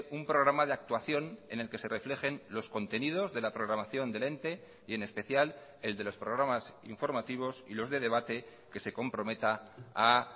un programa de actuación en el que se reflejen los contenidos de la programación del ente y en especial el de los programas informativos y los de debate que se comprometa a